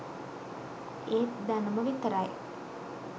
ඒත් දැනුම විතරයි